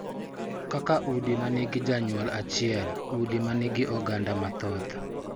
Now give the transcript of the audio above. Kaka udi ma nigi janyuol achiel, udi ma nigi oganda mathoth,